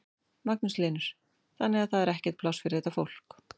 Magnús Hlynur: Þannig að það er ekkert pláss fyrir þetta fólk?